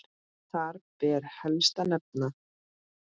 Þar ber helst að nefna